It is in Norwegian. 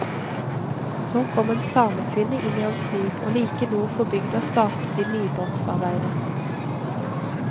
Så kom en samekvinne inn i hans liv, og like nord for bygda startet de nybrottsarbeidet.